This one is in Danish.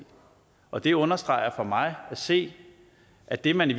og det understreger for mig at se at det man i